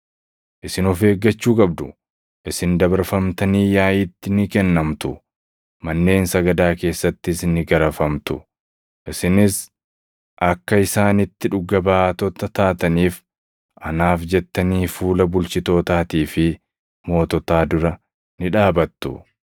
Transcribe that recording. “Isin of eeggachuu qabdu. Isin dabarfamtanii yaaʼiitti ni kennamtu; manneen sagadaa keessattis ni garafamtu. Isinis akka isaanitti dhuga baatota taataniif anaaf jettanii fuula bulchitootaatii fi moototaa dura ni dhaabattu.